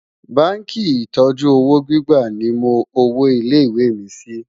bánkì ìtọjú òwò gbígbà ní mó òwò ilé ìwé mí Si